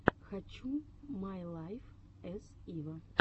хочу май лайф эс ива